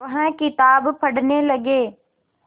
वह किताब पढ़ने लगे